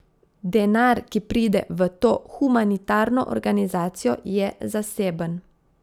Denar, ki pride v to humanitarno organizacijo, je zaseben.